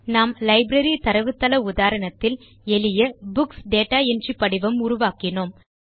நாம் லைப்ரரி தரவுத்தள உதாரணத்தில் எளிய புக்ஸ் டேட்டா என்ட்ரி படிவம் உருவாக்கினோம்